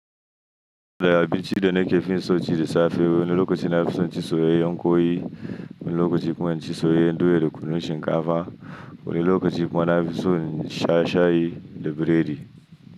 Abinci da na ke fi so ci da safe wani lokaci na fi so in ci soyayyan kwai, wani lokaci kuma in ci soyayyan doya da kunun shinkafa, wani lokaci kuma na fi so in sha shayi da biredi.